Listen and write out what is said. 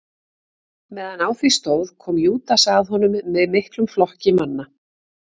Meðan á því stóð kom Júdas að honum með miklum flokki manna.